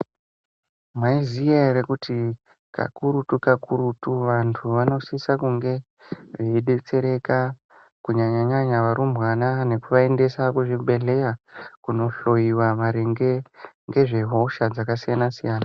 Mwaiziya here kuti kakurutu-kakurutu vantu vanosisa kunge veidetsereka. Kunyanya-nyanya varumbwana nekuvaendesa kuzvibhedhleya kunohloyiwa ngezvehosha dzakasiyana-siyana.